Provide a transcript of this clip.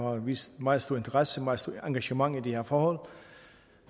og har vist meget stor interesse meget stort engagement i de her forhold